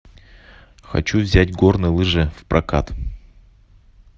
хочу взять горные лыжи в прокат